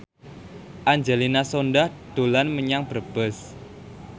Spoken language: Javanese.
Angelina Sondakh dolan menyang Brebes